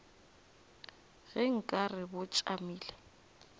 ge nka re bo tšamile